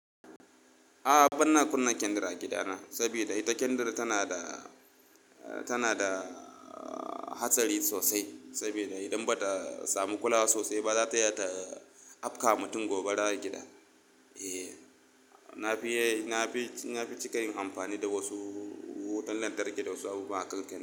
A'a banna kunna kendir a gidana saboda ita kendir tana da, tana da hatsari sosai. Saboda idan bata samu kulawa sosai ba zata iya ta afka mutum gobara a gida. Eh, na fi, na fi, na fi cika yin amfani da wasu wutan lantarki da wasu abubuwa.